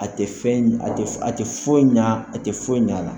A tɛ fɛn a tɛ a tɛ foyi ɲɛ a tɛ foyi ɲ'a la